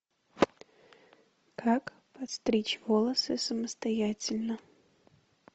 как постричь волосы самостоятельно